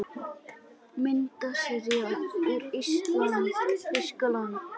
Myndasería úr ÍSLAND- Þýskaland